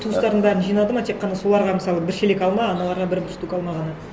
туыстарын бәрін жинады ма тек қана соларға мысалы бір шелек алма аналарға бір бір штук алма ғана